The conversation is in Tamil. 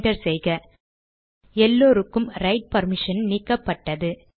என்டர் செய்க எல்லோருக்கும் ரைட் பர்மிஷனை நீக்கப்பட்டது